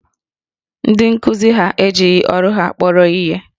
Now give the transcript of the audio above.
Ndị nkuzi ha ejighi ọrụ ha kpọrọ ihe